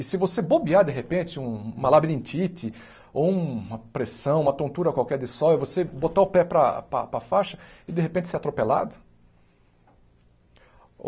E se você bobear de repente um uma labirintite ou uma pressão, uma tontura qualquer de sol e você botar o pé para para para faixa e de repente ser atropelado?